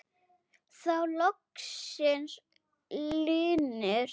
Þá loksins linnir.